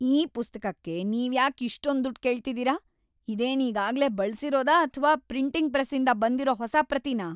ಈ ಪುಸ್ತಕಕ್ಕೆ ನೀವ್ಯಾಕ್ ಇಷ್ಟೊಂದ್‌ ದುಡ್ಡ್‌ ಕೇಳ್ತಿದೀರ? ಇದೇನ್ ಈಗಾಗ್ಲೇ ಬಳ್ಸಿರೋದಾ ಅಥ್ವಾ ಪ್ರಿಂಟಿಂಗ್‌ ಪ್ರೆಸ್ಸಿಂದ ಬಂದಿರೋ ಹೊಸ ಪ್ರತಿನಾ?